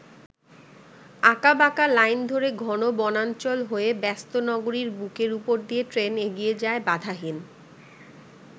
আঁকাবাঁকা লাইন ধরে ঘন বনাঞ্চল হয়ে ব্যস্ত নগরীর বুকের উপর দিয়ে ট্রেন এগিয়ে যায় বাধাহীন।